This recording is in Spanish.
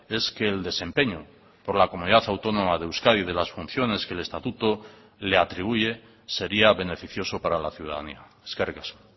es que el desempeño por la comunidad autónoma de euskadi y de las funciones que el estatuto le atribuye sería beneficioso para la ciudadanía eskerrik asko